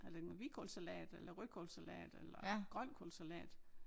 Har lavet noget hvidkålssalat eller rødkålssalat eller grønkålssalat